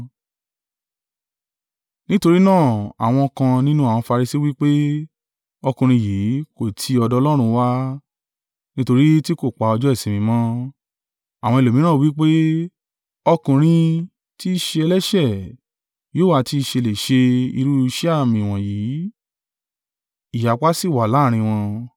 Nítorí náà àwọn kan nínú àwọn Farisi wí pé, “Ọkùnrin yìí kò ti ọ̀dọ̀ Ọlọ́run wá, nítorí tí kò pa ọjọ́ ìsinmi mọ́.” Àwọn ẹlòmíràn wí pé, “Ọkùnrin tí í ṣe ẹlẹ́ṣẹ̀ yóò ha ti ṣe lè ṣe irú iṣẹ́ àmì wọ̀nyí?” Ìyapa sì wà láàrín wọn.